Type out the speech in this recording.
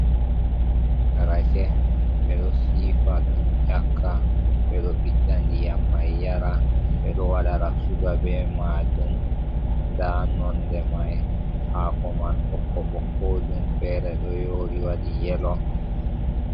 Rake be do sifa ɗum ƴakka be do biɗda ndiyam mai yara bedo wadara suga be majum da nonde mai hako man bokko bo kojum fere do yori wadi yelo.